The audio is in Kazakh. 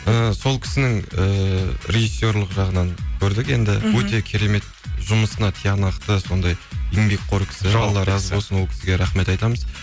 ыыы сол кісінің ііі режиссерлік жағынан көрдік енді мхм өте керемет жұмысына тиянақты сондай еңбекқор кісі алла разы болсын ол кісіге рахмет айтамыз